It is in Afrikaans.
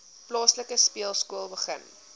plaaslike speelskool begin